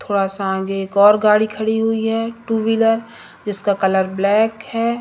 थोड़ा सा आंगे एक और गाड़ी खड़ी हुई है टू व्हीलर जिसका कलर ब्लैक है।